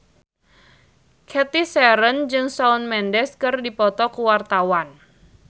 Cathy Sharon jeung Shawn Mendes keur dipoto ku wartawan